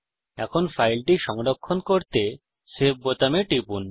এখন ফাইলটি সংরক্ষণ করতে সেভ বোতামে টিপুন